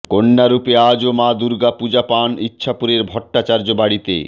কন্যা রূপে আজও মা দুর্গা পুজো পান ইছাপুরের ভট্টাচার্য্য বাড়িতে